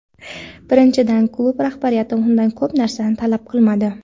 Birinchidan, klub rahbariyati undan ko‘p narsa talab qilmadi.